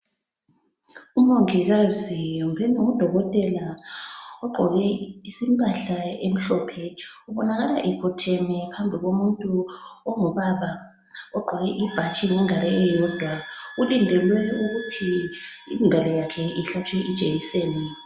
Umongikazi kumbeni ngudokotela ogqoke impahla emhlophe ubonakala ekhotheme phambi komuntu ongubaba ogqoke ibhatshi ngengalo eyodwa ulindelwe ukuthi ingalo yakhe ihlatshwe ijekiseni.